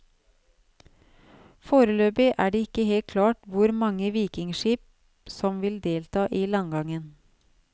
Foreløpig er det ikke helt klart hvor mange vikingskip som vil delta i landgangen.